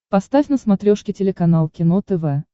поставь на смотрешке телеканал кино тв